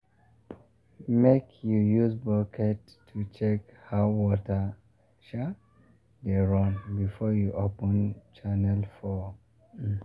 make you use bucket to check how water um dey run before you open channel for um am.